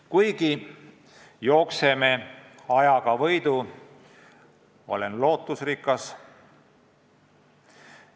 Jah, me jookseme ajaga võidu, aga olen siiski lootusrikas.